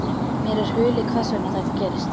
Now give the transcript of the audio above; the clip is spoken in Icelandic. Mér er hulið hvers vegna þetta gerist.